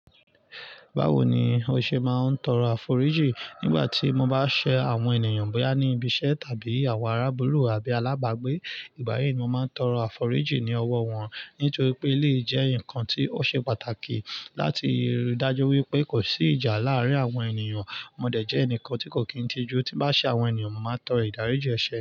Báwo ni o ṣe ma n tọrọ àforíjì? Nígbàtí mo ba ṣe àwọn ènìyàn bóyá ni ibi iṣẹ́ tàbí àwọn arabulu àbí alabagbe, ìgbà yìí mo ma n tọrọ àforíjì ni ọwọ wọn nítorí pe eleyi jẹ ǹkan ti o ṣe pàtàkì láti ríi dájú wípé ko si ìjà láàrín àwọn ènìyàn. Mo dẹ̀ jẹ ẹnikan ti ko kin tiju ti m ba ṣe àwọn ènìyàn mo máa n toro idarinjin ẹṣẹ.